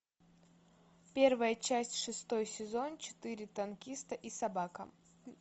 первая часть шестой сезон четыре танкиста и собака